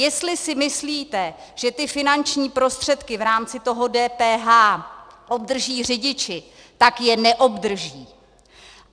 Jestli si myslíte, že ty finanční prostředky v rámci toho DPH obdrží řidiči, tak je neobdrží.